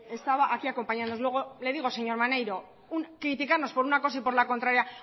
estaba aquí acompañándonos luego le digo señor maneiro criticarnos por una cosa y por la contraria